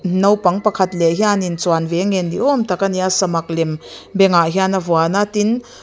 naupang pakhat leh hian in chuan ve a ngen ni awm tak a ni a samak lem bengah hian a vuan a tin--